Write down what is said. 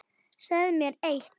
Segðu mér eitt.